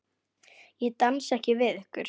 Ég dansa ekki við ykkur.